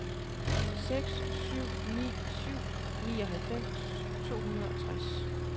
seks syv ni syv nioghalvfems to hundrede og tres